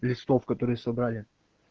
листов которые собрали